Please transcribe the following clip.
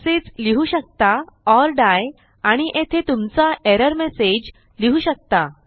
तसेच लिहू शकता ओर डाई आणि येथे तुमचा एरर मेसेज लिहू शकता